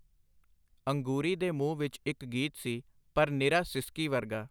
ਅੰਗੂਰੀ ਦੇ ਮੂੰਹ ਵਿਚ ਇਕ ਗੀਤ ਸੀ, ਪਰ ਨਿਰਾ ਸਿਸਕੀ ਵਰਗਾ.